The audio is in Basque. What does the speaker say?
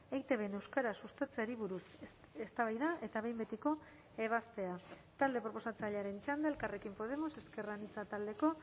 eitbn euskara sustatzeari buruz eztabaida eta behin betiko ebazpena talde proposatzailearen txanda elkarrekin podemos ezker anitza taldeko